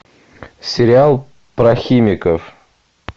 сериал про химиков